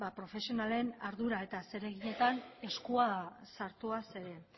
profesionalen ardura eta zereginetan eskua sartuaz